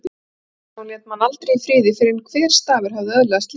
Vissi að hún lét mann aldrei í friði fyrr en hver stafur hafði öðlast líf.